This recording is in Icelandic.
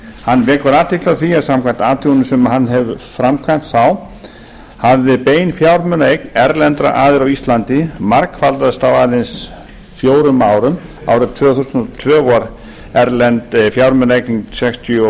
hann vekur athygli á því að samkvæmt athugunum sem hann hefur framkvæmt þá hafði bein fjármunaeign erlendra aðila á íslandi margfaldast á aðeins fjórum árum árið tvö þúsund og tvö var erlend fjármunaeign sextíu og